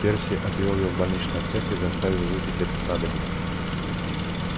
перси отвёл её в больничный отсек и заставил выпить это снадобье